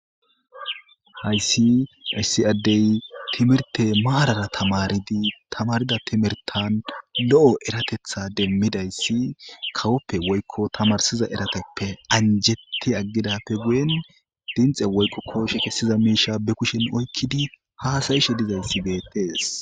hayssi issi addey timirte maarara tamaridi tamarida timirtan lo7o eratetha demmidayssi kawoppe woykko tamarsiza erateppe anjetti aggidappe guyen dinxe woyqo kooshe kessiza miisha be kushen oykkidi haasayishe dizayssi beettees